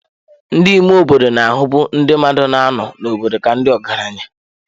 Ndị ime obodo na-ahụbu ndị mmadụ na-anọ n'obodo ka ndị ọgaranya.